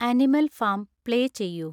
animal farm play ചെയ്യൂ